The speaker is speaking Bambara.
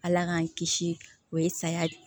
Ala k'an kisi o ye saya de